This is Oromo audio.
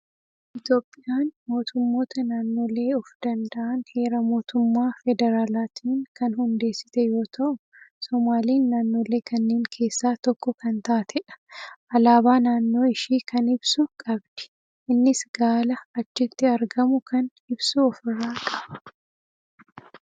Itoophiyaan mootummoota naannolee of danda'an Heera mootummaa Federaaliitiin kan hundeessite yoo ta'u, somaaliin naannolee kanneen keessaa tokko kan taatedha. Alaabaa naannoo ishii kan ibsu qabdi. Innis Gaala achitti argamu kan ibsu ofirraa qaba.